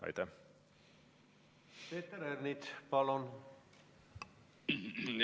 Peeter Ernits, palun!